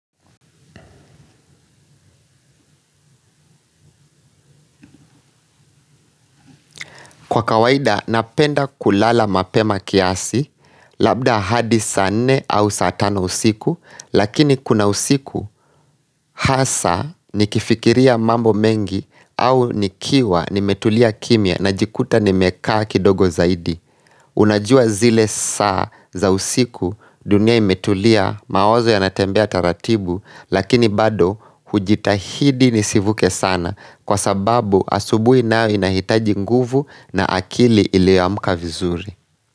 Kwa kawaida napenda kulala mapema kiasi labda hadi saa nne au saa tano usiku lakini kuna usiku hasa nikifikiria mambo mengi au nikiwa nimetulia kimia na jikuta nimekaa kidogo zaidi. Unajua zile saa za usiku dunia imetulia mawazo yanatembea taratibu Lakini bado hujitahidi nisivuke sana Kwa sababu asubuhi nao inahitaji nguvu na akili iliyoamka vizuri.